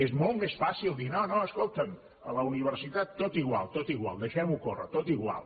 és molt més fàcil dir no no escolta’m a la universitat tot igual tot igual deixem ho córrer tot igual